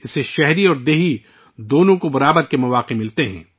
یہ شہری اور دیہی دونوں لوگوں کو یکساں مواقع فراہم کرتا ہے